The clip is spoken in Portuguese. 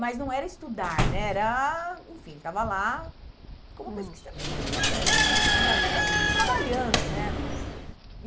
Mas não era estudar né, era... Enfim, ficava lá como, hum, não era bem pesquisador, estava trabalhando né lá.